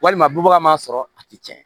Walima bubaga ma sɔrɔ a tɛ tiɲɛ